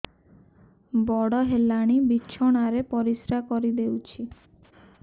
ବଡ଼ ହେଲାଣି ବିଛଣା ରେ ପରିସ୍ରା କରିଦେଉଛି